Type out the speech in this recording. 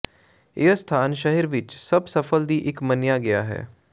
ਇਹ ਸਥਾਨ ਸ਼ਹਿਰ ਵਿਚ ਸਭ ਸਫਲ ਦੀ ਇੱਕ ਮੰਨਿਆ ਗਿਆ ਹੈ